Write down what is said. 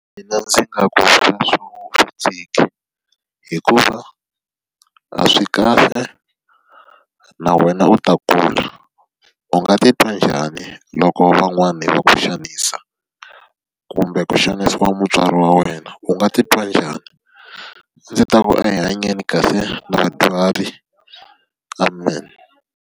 Mina ndzi nga ku hikuva a swi kahle, na wena u ta kula. U nga titwa njhani loko va n'wana va ku xanisa? Kumbe ku xanisiwa mutswari wa wena, u nga titwa njhani? Ndzi ta ku a hi hanyeni kahle na vadyuhari, amen.